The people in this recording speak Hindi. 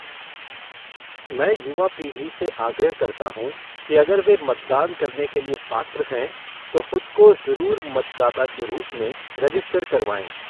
मैं युवा पीढ़ी से आग्रह करता हूँ कि अगर वे मतदान करने के लिए पात्र हैं तो ख़ुद को ज़रूर मतदाता के रूप में रेजिस्टर करवाएँ।